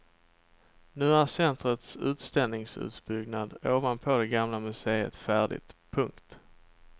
Nu är centrets utställningsutbyggnad ovanpå det gamla museet färdigt. punkt